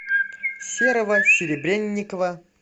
серого серебренникова